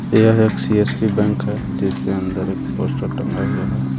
यह एक CSP bank है जिसके अंदर एक पोस्टर टंगा हुआ है.